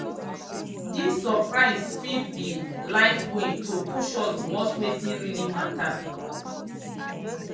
dis surprises fit be life way to push us towards wetin really matter.